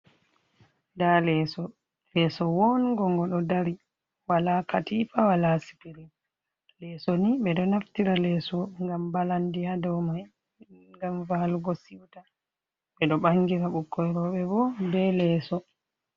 Nɗa leeso. Lesso wo'ongon. goɗo dari wala katifa wala sipirin. Leeso ni beɗo naftira leeso ngam balanɗi ha ɗaumai, ngam valugo siwta. Beɗo bangira bikkoi robe bo be leeso.